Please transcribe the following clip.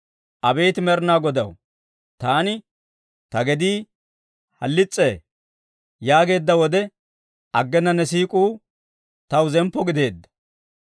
Abeet Med'inaa Godaw, taani, «Ta gedii halis's'ee» yaageedda wode, aggena ne siik'uu taw zemppo gideedda.